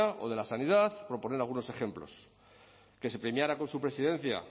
o de la sanidad por poner algunos ejemplos que se premiara con su presidencia